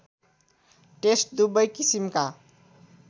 test दुबै किसिमका